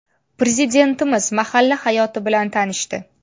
Prezidentimiz mahalla hayoti bilan tanishdi.